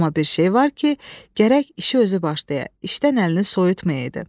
Amma bir şey var ki, gərək işi özü başlaya, işdən əlini soyutmaya idi.